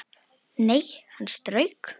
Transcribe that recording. Nei, hann strauk